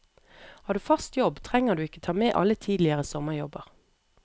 Har du fast jobb trenger du ikke ta med alle tidligere sommerjobber.